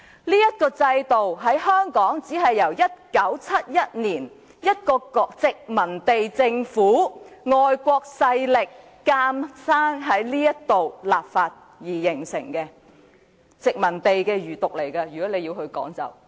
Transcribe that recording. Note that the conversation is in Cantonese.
在香港，這制度只是在1971年由一個殖民地政府、外國勢力強行在這地方立法而形成的，可以說是殖民地的餘毒。